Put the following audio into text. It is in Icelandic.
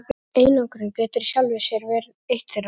Einangrun getur í sjálfu sér verið eitt þeirra.